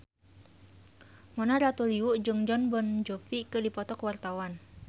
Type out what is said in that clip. Mona Ratuliu jeung Jon Bon Jovi keur dipoto ku wartawan